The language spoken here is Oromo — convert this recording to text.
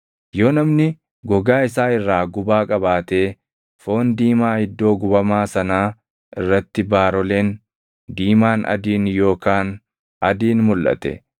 “Yoo namni gogaa isaa irraa gubaa qabaatee foon diimaa iddoo gubamaa sanaa irratti baaroleen diimaan adiin yookaan adiin mulʼate,